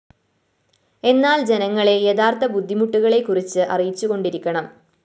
എന്നാല്‍ ജനങ്ങളെ യഥാര്‍ത്ഥ ബുദ്ധിമുട്ടുകളെക്കുറച്ച്‌ അറിയിച്ചുകൊണ്ടിരിക്കണം